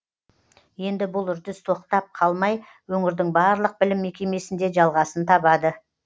енді бұл үрдіс тоқтап қалмай өңірдің барлық білім мекемесінде жалғасын табады